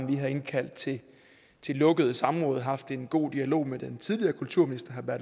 vi har indkaldt til lukkede samråd og haft en god dialog med den tidligere kulturminister